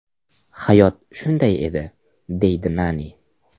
Hayot shunday edi”, deydi Nani.